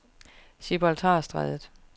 Gibraltarstrædet